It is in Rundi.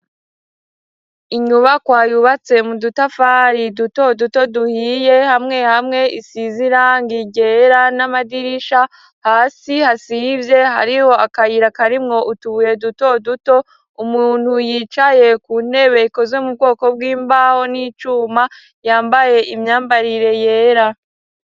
Inyubakwa yubatse mu dutafari duto duto duhiye ,hamwe hamwe isiz'irangi ryera n'amadirisha, hasi hasivye hariho akayira karimwo utubuye duto duto umuntu yicaye ku ntebe ikozwe mu bwoko bw'imbaho n'icuma, yambaye imyambarire yera.